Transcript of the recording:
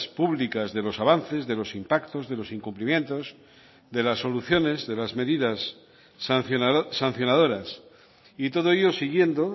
públicas de los avances de los impactos de los incumplimientos de las soluciones de las medidas sancionadoras y todo ello siguiendo